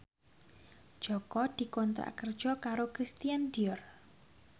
Jaka dikontrak kerja karo Christian Dior